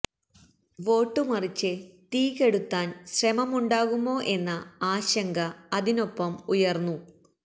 vote മറിച്ച് തീ കെടുത്താന് ശ്രമമുണ്ടാകുമോ എന്ന ആശങ്ക അതിനൊപ്പം ഉയര്ന്നു